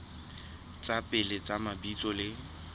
tsa pele tsa mabitso le